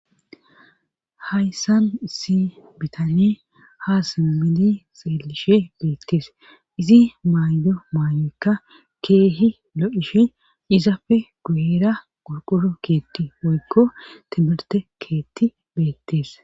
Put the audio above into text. hayssan issi bitane ha simmidi xeelishe beettes izi maaydo maayoykka keehi lo7ishe izapfe guyera qurquro keetti woykko timirte keetti beettees